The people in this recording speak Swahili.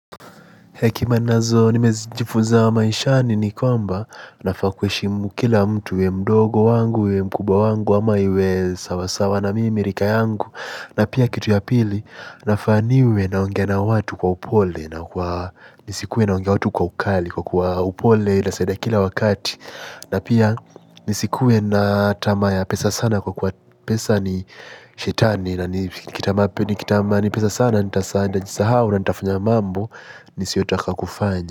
Hekima nazo nimejifunza maishani ni kwamba nafaa kuheshimu kila mtu uwe mdogo wangu, uwe mkuba wangu, ama uwe sawasawa na mimi, rika yangu. Na pia kitu ya pili nafaa niwe naongea na watu kwa upole na kwa nisikuwe naongea watu kwa ukali kwa kuwa upole inasaidia kila wakati. Na pia nisikue na tamaa ya pesa sana kwa kuwa pesa ni shetani na nikitamani pesa sana, nitajisahau na nitafanya mambo nisiyotaka kufanya.